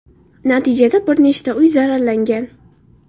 Natijada bir nechta uy zararlangan.